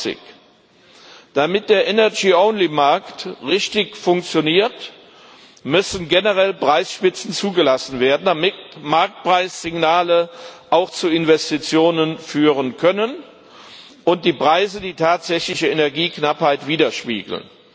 22. Damit der Energy only Markt richtig funktioniert, müssen generell Preisspitzen zugelassen werden, damit Marktpreissignale auch zu Investitionen führen können und die Preise die tatsächliche Energieknappheit widerspiegeln.